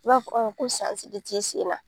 U b'a fɔ ko de ti sen na